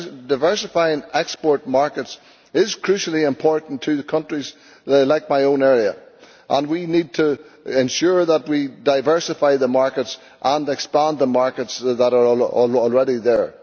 Diversifying export markets is crucially important to the countries like my own, and we need to ensure that we diversify the markets and expand the markets that are already there.